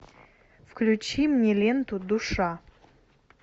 включи мне ленту душа